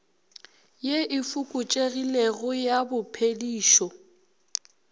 ye e fokotšegilego ya bophedišo